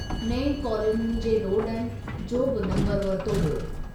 नएं कॉलोनियुनि जे रोडनि जो बि नम्बरु वरितो वियो।